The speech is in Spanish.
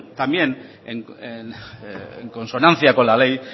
también en consonancia con la ley